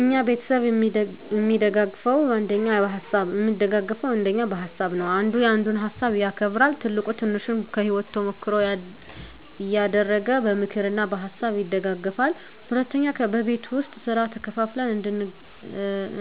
እኛ ቤተሰብ እሚደጋገፈዉ አንደኛ በሀሳብ ነዉ። አንዱ ያንዱን ሀሳብ ያከብራል፣ ትልቁ ትንሹን ከህይወቱ ተሞክሮ እያደረገ በምክር እና በሀሳብ ይደግፉናል። ሁለተኛ በቤት ዉስጥ ስራ ተከፋፍለን